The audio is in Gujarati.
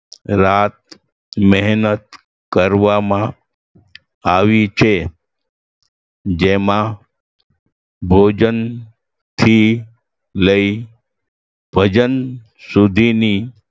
રાત મહેનત કરવામાં આવી છે જેમાં ભોજન થી લઈ ભજન સુધીની